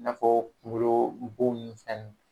I n'a fɔ kungolo bon ninnu fɛnɛni.